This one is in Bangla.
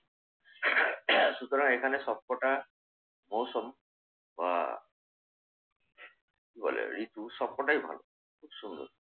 সুতরাং এখানে সবকটা মৌসুম বা কি বলে ঋতু সবকটাই ভালো। খুব সুন্দর